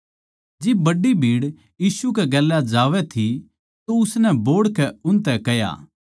जिब बड्डी भीड़ यीशु कै गेल्या जावै थी तो उसनै बोहड़कै उनतै कह्या